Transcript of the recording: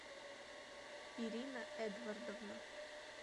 ирина эдвардовна